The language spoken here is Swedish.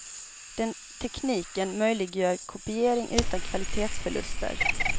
Den tekniken möjliggör kopiering utan kvalitetsförluster.